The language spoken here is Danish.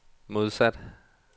modsat